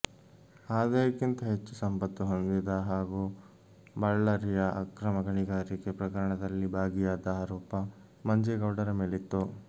ಆದಾಯಕ್ಕಿಂತ ಹೆಚ್ಚು ಸಂಪತ್ತು ಹೊಂದಿದ ಹಾಗೂ ಬಳ್ಳಾರಿಯ ಅಕ್ರಮ ಗಣಿಗಾರಿಕೆ ಪ್ರಕರಣದಲ್ಲಿ ಭಾಗಿಯಾದ ಆರೋಪ ಮಂಜೇಗೌಡರ ಮೇಲಿತ್ತು